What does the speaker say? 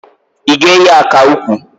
I ga eyi aka ukwu?